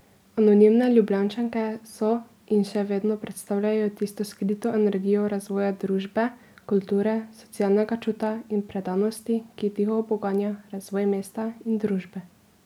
Anonimne Ljubljančanke so in še vedno predstavljajo tisto skrito energijo razvoja družbe, kulture, socialnega čuta in predanosti, ki tiho poganja razvoj mesta in družbe.